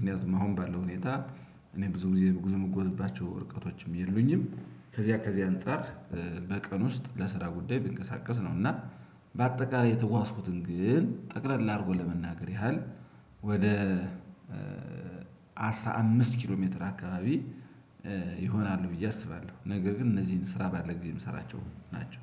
ምን ያህል አሁን ባለው ሁኔታ። እኔ ብዙ ጊዜ ጉዞ ምጎትባቸው ርቀቶችም የሉኝም። ከዚያ ከዚያ አንፃር በቀን ውስጥ ለስራ ጉዳይ ብንቀሳቀስ ነው። እና በአጠቃላይ የተጓዝኩትን ግን ጠቅለል አድርጎ ለመናገር ያህል። ወደ አስራ አምስት ኪሎ ሜትር አካባቢ ይሆናሉ ብዬ አስባለሁ። ነገር ግን እነዚህን ስራ ባለ ጊዜ የምሰራቸው ናቸው።